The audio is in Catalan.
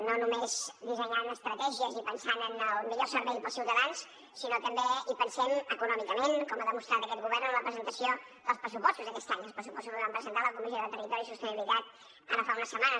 no només dissenyant estratègies i pensant en el millor servei pels ciutadans sinó que també hi pensem econòmicament com ha demostrat aquest govern en la presentació dels pressupostos d’aquest any dels pressupostos que vam presentar a la comissió de territori i sostenibilitat ara fa unes setmanes